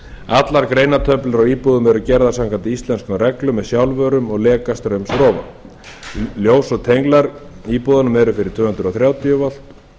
allar greinatöflur á íbúðum eru gerðar samkvæmt íslenskum reglum með sjálfvörum og lekastraumsrofa ljós og tenglar í íbúðunum eru fyrir tvö hundruð þrjátíu volt